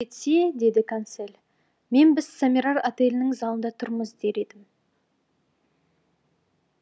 қожайын рұқсат етсе деді консель мен біз сомерар отелінің залында тұрмыз дер едім